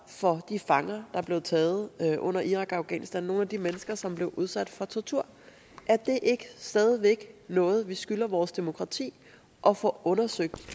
for de fanger der blev taget under irak og afghanistankrigen af de mennesker som blev udsat for tortur er det ikke stadig væk noget vi skylder vores demokrati at få undersøgt